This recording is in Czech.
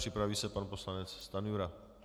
Připraví se pan poslanec Stanjura.